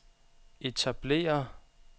etablere